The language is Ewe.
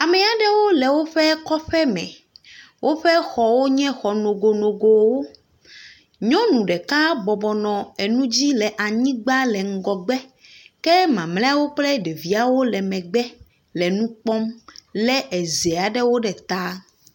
Ame aɖewo le woƒe kɔƒe me. woƒe xɔwo nye xɔ nogonogowo. Nyɔnu ɖeka bɔbɔ nɔ enu dzi le anyigba le ŋgɔgbe. Ke mamlɛawo kple ɖeviawo le mgbe le nu kpɔm lé eze aɖewo ɖe ta.